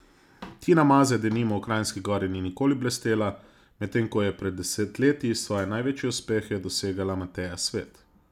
Tina Maze denimo v Kranjski Gori ni nikoli blestela, medtem ko je pred desetletji svoje največje uspehe dosegala Mateja Svet.